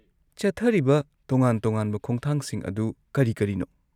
ꯆꯠꯊꯔꯤꯕ ꯇꯣꯉꯥꯟ-ꯇꯣꯉꯥꯟꯕ ꯈꯣꯡꯊꯥꯡꯁꯤꯡ ꯑꯗꯨ ꯀꯔꯤ ꯀꯔꯤꯅꯣ?